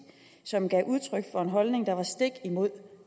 som gav udtryk for en holdning der var stik imod